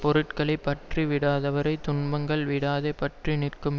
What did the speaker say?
பொருள்களைப் பற்றி விடாதவரைத் துன்பங்கள் விடாதே பற்றி நிற்கும்